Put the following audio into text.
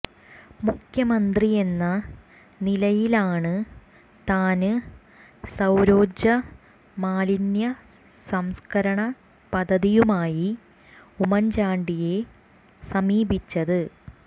മുഖ്യമന്ത്രിയെന്ന നിലയിലാണ് താന് സൌരോര്ജ്ജ മാലിന്യ സംസ്കരണ പദ്ധതിയുമായി ഉമ്മന്ചാണ്ടിയെ സമീപിച്ചത്